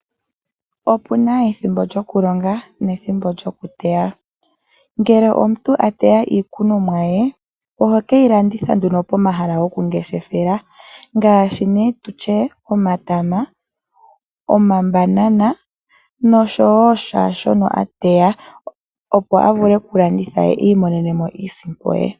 Opuna ethimbo lyoku longa nethimbo lyokuteya. Ngele omuntu at eya iikunomwa ye oheke yi landitha nduno pomahala goku ngeshefela ngaashi nee tutye omatama, omabanana noshowo shaashono a teya, opo a vule oku landitha ye imonene mo iisimpo ye.